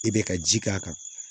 I bɛ ka ji k'a kan